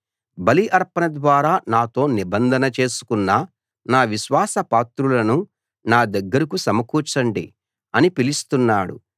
బలి అర్పణ ద్వారా నాతో నిబంధన చేసుకున్న నా విశ్వాస పాత్రులను నా దగ్గరకు సమకూర్చండి అని పిలుస్తున్నాడు